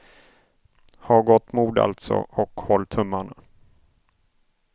Ha gott mod alltså, och håll tummarna.